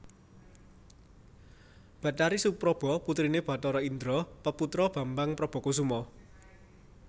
Bathari Supraba putriné Bathara Indra peputra Bambang Prabakusuma